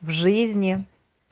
в жизни